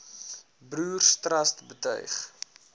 broers trust betuig